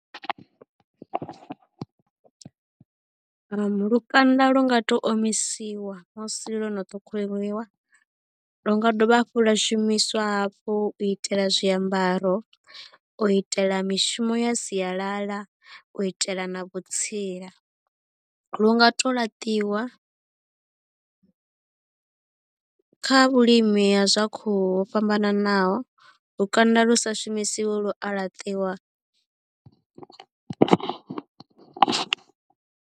Lukanda lu nga tou omisiwa musi lwo no ṱhukhuliwa lu nga dovha hafhu lwa shumiswa hafhu u itela zwiambaro u itela mishumo ya sialala u itela na vhutsila lu nga to laṱiwa kha vhulimi ha zwa khuhu ho fhambananaho lukanda lu sa shumisiwi lu a laṱiwa.